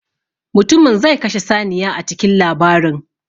Mutumin zai kashe saniya a cikin labarin.